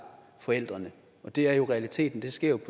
forældrene og det er jo realiteten det sker